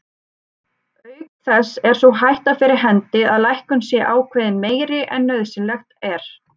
Auk þess er sú hætta fyrir hendi að lækkun sé ákveðin meiri en nauðsynlegt er.